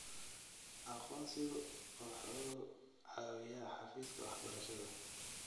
Aqoonsigu waxa uu caawiyaa xafiiska waxbarashada.